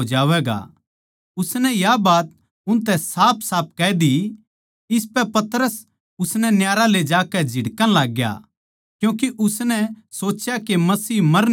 उसनै या बात उनतै साफसाफ कह दी इसपै पतरस उसनै न्यारा ले जाकै झिड़कण लाग्या क्यूँके उसनै सोच्या के मसीह मर न्ही सकदा